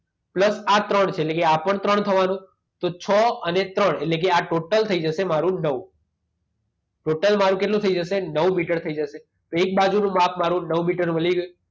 Plus આ ત્રણ છે એટલે કે આ પણ ત્રણ થવાનું. તો છ અને ત્રણ એટલે કે આ ટોટલ થઈ જશે મારું નવ. ટોટલ મારું કેટલું થઈ જશે? નવ મીટર થઈ જશે. તો એક બાજુનું માપ મારું નવ મીટરનું મળી ગયું.